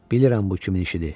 Bilirəm bu kimin işidir.